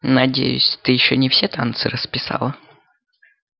надеюсь ты ещё не все танцы расписала